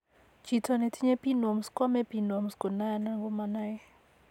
Chiito netinye pinworms koame pinworms konoe ala komanoe